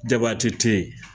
Jabaate tɛ yen